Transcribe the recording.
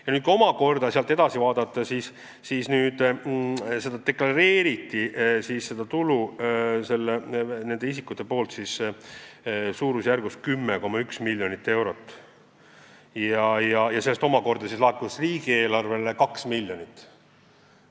Ja kui nüüd edasi vaadata, siis näeme, et need isikud deklareerisid seda tulu suurusjärgus 10,1 miljonit eurot, millest laekus riigieelarvesse 2 miljonit.